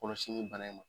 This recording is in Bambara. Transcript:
Kɔlɔsili bana in ma